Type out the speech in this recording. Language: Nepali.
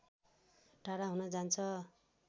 टाढा हुन जान्छ